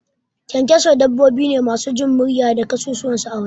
Ƙyanƙyaso dabbobi ne masu jimriya da kasusuwan su a waje